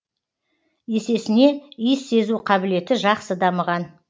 есесіне иіс сезу қабілеті жақсы дамыған